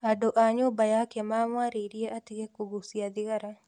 Andũ a nyũmba yake mamwarairie atige kũgũcia thigara